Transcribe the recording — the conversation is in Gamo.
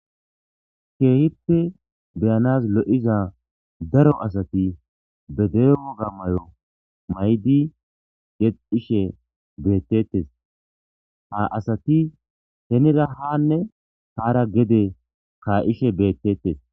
Kehipe be'anas lo'izane daro asati be dere woga mayo ma'idi yexishe betetes ha asati henira hane hara gede ka'ishe betetes.